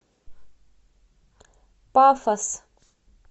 пафос